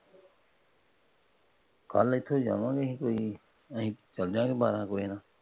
ਕੱਲ ਇੱਥੋਂ ਈ ਜਾਵਾਂਗੇ ਅਸੀਂ ਕੋਈ । ਅਸੀਂ ਚਲੇ ਜਾਵਾਂਗੇ ਬਾਰਹ ਕੁ ਵਜੇ।